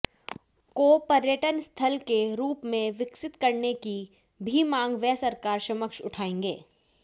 को पर्यटन स्थल के रूप में विकसित करने की भी मांग वे सरकार समक्ष उठायेंगे